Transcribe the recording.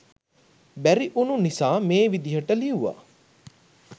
බැරි උනු නිසා මේ විදිහට ලිව්වා.